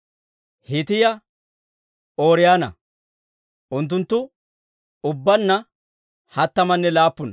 Hiitiyaa Ooriyoona. Unttunttu ubbaanna hattamanne laappuna.